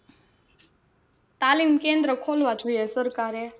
તાલીમ કેન્દ્ર ખોલવા જોઈએ સરકારે.